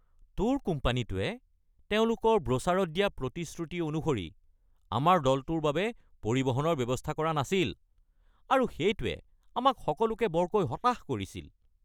Tour কোম্পানীটোৱে তেওঁলোকৰ ব্ৰ'চাৰত দিয়া প্ৰতিশ্ৰুতি অনুসৰি আমাৰ দলটোৰ বাবে পৰিবহনৰ ব্যৱস্থা কৰা নাছিল আৰু সেইটোৱে আমাক সকলোকে বৰকৈ হতাশ কৰিছিল।